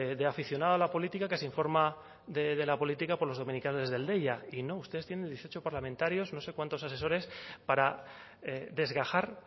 de aficionados a la política que se informa de la política por los dominicales deia y no ustedes tienen dieciocho parlamentarios no sé cuántos asesores para desgajar